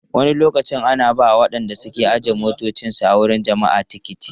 Wani lokaci ana ba wa waɗanda ke ajiye motocinsu a wuraren taruwar jama'a tiketi.